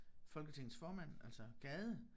Folketingets formand altså Gade